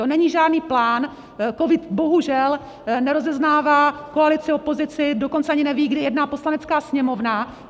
To není žádný plán, covid bohužel nerozeznává koalici, opozici, dokonce ani neví, kdy jedná Poslanecká sněmovna.